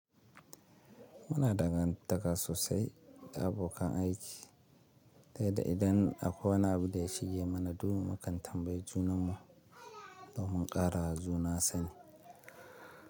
Muna dangantaka sosai da abokan aiki, dai da idan akwai wani abu ɗaya shige mana duhu mukan tambayi junanmu domin ƙarawa juna sani.